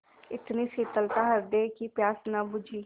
इतनी शीतलता हृदय की प्यास न बुझी